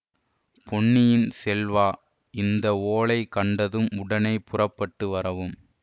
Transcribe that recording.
பொன்னியின் செல்வா இந்த ஓலை கண்டதும் உடனே புறப்பட்டு வரவும்